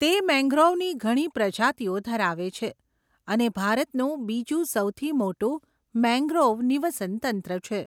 તે મેંગ્રોવની ઘણી પ્રજાતિઓ ધરાવે છે અને ભારતનું બીજું સૌથી મોટું મેંગ્રોવ નિવસનતંત્ર છે.